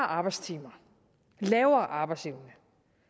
arbejdstimer lavere arbejdsevne